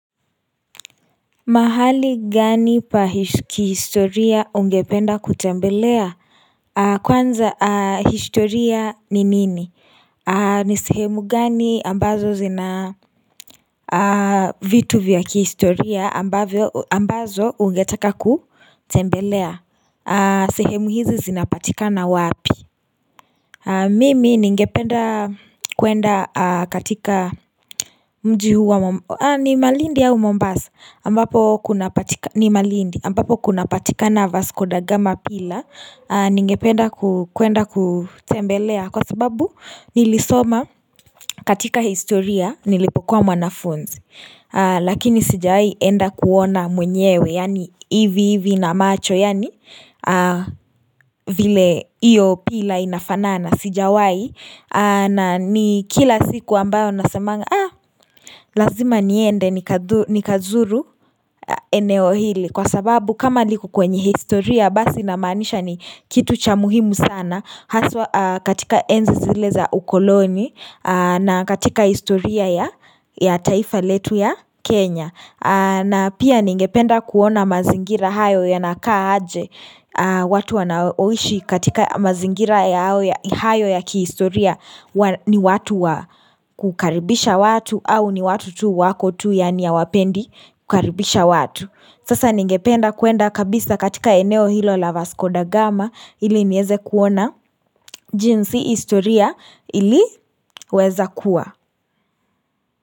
Mahali gani pa kihistoria ungependa kutembelea Kwanza historia ni nini ni sehemu gani ambazo zina vitu vya kihistoria ambazo ungetaka kutembelea sehemu hizi zinapatikana wapi Mimi ningependa kuenda katika mji huwa ni malindi au mombasa ambapo kunapatika na vasikodagama pila ningependa kuenda kutembelea kwa sababu nilisoma katika historia nilipokuwa mwanafunzi Lakini sijawai enda kuona mwenyewe yani hivi hivi na macho yani vile iyo pila inafanana sijawai na ni kila siku ambayo nasamanga ah lazima niende nikazuru eneo hili kwa sababu kama liku kwenye historia basi namanisha ni kitu cha muhimu sana Haswa katika enzi zile za ukoloni na katika istoria ya taifa letu ya Kenya na pia ningependa kuona mazingira hayo yanakaa aje watu wanaoishi katika mazingira ya hayo ya kiistoria ni watu wa kukaribisha watu au ni watu tu wako tu yani ya hawapendi kukaribisha watu Sasa ningependa kuenda kabisa katika eneo hilo la Vaskoda Gama ili nieze kuona jinsi historia ili weza kuwa.